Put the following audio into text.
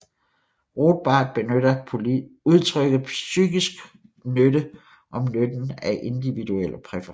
Rothbard benytter udtrykket psykisk nytte om nytten af individuelle præferencer